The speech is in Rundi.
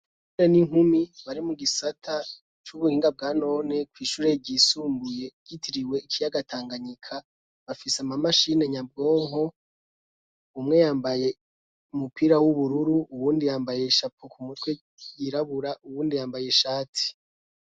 Abahungu n'inkumi bari mu gisata c'ubuhinga bwanone kw'ishure ryisumbuye ryitiriwe ikiyaga tanganyika, bafise ama mashine nyabwonko umwe yambaye umupira w'ubururu uwundi yambaye ishapo ku mutwe yirabura uwundi yambaye ishati.